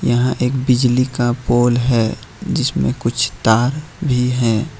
यहां एक बिजली का पोल है जिसमें कुछ तार भी है।